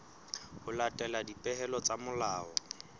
ho latela dipehelo tsa molao